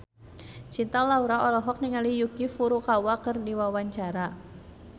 Cinta Laura olohok ningali Yuki Furukawa keur diwawancara